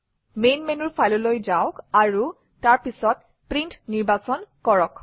main মেনুৰ File অলৈ যাওক আৰু তাৰ পিছত প্ৰিণ্ট নিৰ্বাচন কৰক